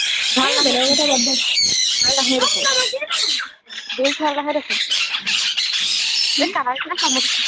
ভাল নাহে এই বেলেগৰ কথা বাদ দে ভাল নাহে অ মুনু বা কিনো views ভাল নাহে দেখোন এই কাৰ